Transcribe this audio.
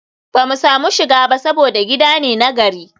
ba mu samu shiga ba saboda gida ne na gari